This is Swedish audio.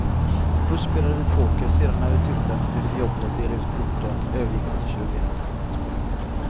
Först spelade vi poker, sedan när vi tyckte att det blev för jobbigt att dela ut korten övergick vi till tjugoett.